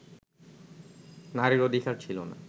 নারীর অধিকার ছিল না